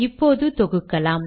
இப்போது தொகுக்கலாம்